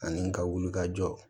Ani ka wulikajɔ